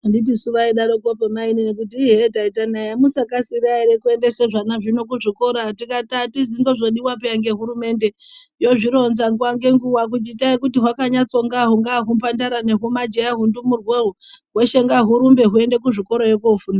Anditi suu vaidaropo mainini kuti hee taita nai hamukasira here kuendesa zvana zvino kuzvikora tikati hatizi, ndozvo zvodiwa peya ngehurumende yozvironza nguwa ngenguwa kuti itai kuti hukanyatsongaho hungawa humajaha hundumurwa uwu hweshe ngawurumbe hweyiyende kuchikorayo kofunda.